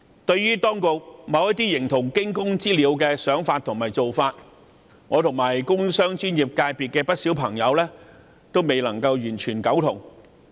對於當局某些形同驚弓之鳥的想法及做法，我和工商專業界別的不少朋友都未能完全苟同。